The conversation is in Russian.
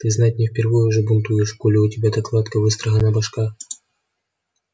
ты знать не впервой уже бунтуешь коли у тебя так гладко выстрогана башка